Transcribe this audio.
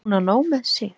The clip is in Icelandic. Hún á nóg með sig.